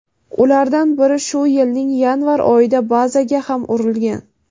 ulardan biri shu yilning yanvar oyida bazaga ham urilgan.